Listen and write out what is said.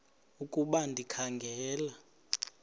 ukuba ndikha ngela